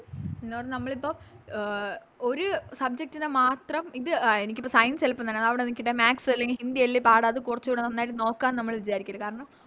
നിന്നോട് നമ്മളിപ്പോ അഹ് ഒര് Subject നെ മാത്രം ഇത് ആ എനിക്കിപ്പോ Science എളുപ്പം തന്നെ അതവിടെ നിക്കട്ടെ Maths അല്ലെങ്കി ഹിന്ദി അല്ലെ പാട് അത് കുറച്ചൂടെ നന്നായിട്ട് നോക്കാം ന്ന് നമ്മള് വിചാരിക്കല്ല് കാരണം